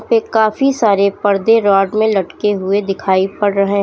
पे काफी सारे पर्दे रोड में लटके हुए दिखाई पड़ रहे--